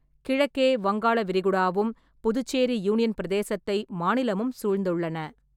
கிழக்கே வங்காள விரிகுடாவும், புதுச்சேரி யூனியன் பிரதேசத்தை மாநிலமும் சூழ்ந்துள்ளன.